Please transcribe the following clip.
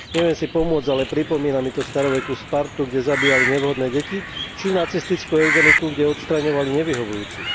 Neviem si pomôcť, ale pripomína mi to starovekú Spartu, kde zabíjali nevhodné deti, či nacistickú eugeniku, kde odstraňovali nevyhovujúcich.